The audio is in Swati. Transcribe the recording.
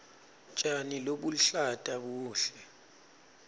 tjani lobuluhlata buhle